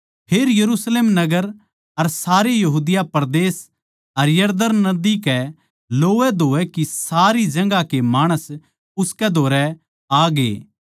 फेर यरुशलेम नगर अर सारे यहूदिया परदेस अर यरदन नदी कै लोवैधोवै की सारी जगहां के माणस उसकै धोरै आग्ये